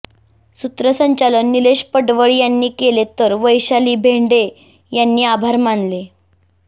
सूत्रसंचालन निलेश पडवळ यांनी केले तर वैशाली बेंडे यांनी आभार मानले